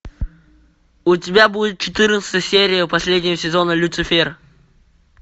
у тебя будет четырнадцатая серия последнего сезона люцифер